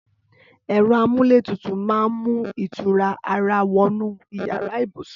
Ẹrọ àmúlétútú mà n mú itúrá àrà wọnú iyàrá ibúsún